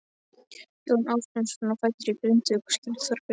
Jón Ásbjarnarson var fæddur í Grindavík og skírður Þorbjörn.